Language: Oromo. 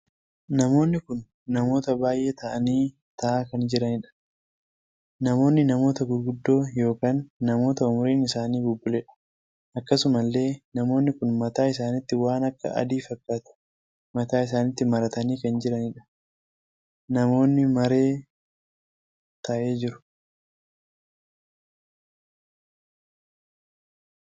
Namoonni kun namoota baay'ee taa'anii taa'aa kan jiranidha. namoonni namoota gurguddoo ykn namoota umuriin isaanii bubbuleedha. akkasuma illee namoonni kun mataa isaanitti waan akka adii fakkaatu mataa isaanitti maratanii kan jiranidha. namoonni maree tahee jiru.